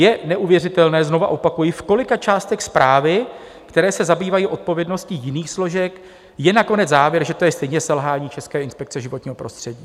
Je neuvěřitelné - znova opakuji - v kolika částech zprávy, které se zabývají odpovědnostní jiných složek, je nakonec závěr, že to je stejně selhání České inspekce životního prostředí.